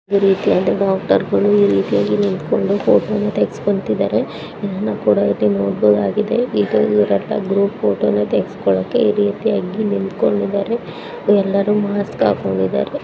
ಡಾಕ್ಟರಗಳು ಎಲ್ಲರೂ ನಿಂತುಕೊಂಡು ಫೋಟೋ ವನ್ನು ತೆಗೆಸುಕೊಂತಿದ್ದಾರೆ ಗ್ರೂಪ್ ಫೋಟೋನ ತೆಗೆಸಿಕೊಳ್ತಾ ಇದ್ದಾರೆ .